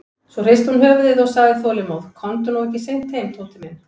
Svo hristi hún höfuðið og sagði þolinmóð: Komdu nú ekki seint heim, Tóti minn.